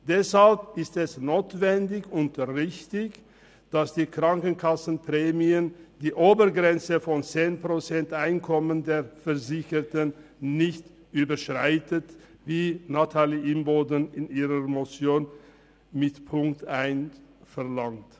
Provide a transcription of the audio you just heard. Deshalb ist es notwendig und richtig, dass die Krankenkassenprämien die Obergrenze von 10 Prozent Einkommen der Versicherten nicht überschreiten, wie Nathalie Imboden in ihrer Motion mit Punkt 1 verlangt.